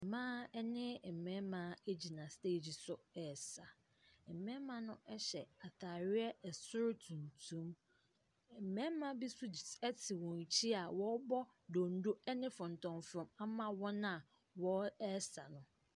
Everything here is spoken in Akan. Mmaa ne mmarima gyina steegi so resa. Mmarima no hyɛ atareɛ soro tuntum. Mmarima bi nso gy ɛte wɔn akyi a wɔrebɔ donno ne fɔntɔmfrɔm ama wɔn a wɔresa no.